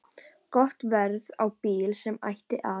Gott verð á bíl sem ætti að